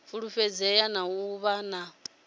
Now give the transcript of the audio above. fulufhedzea na u vha na